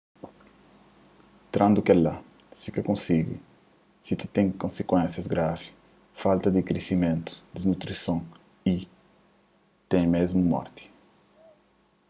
trandu kela si ka konsigi si ta ten konsikuénsias gravi falta di krisimentu disnutrison y ti mésmu morti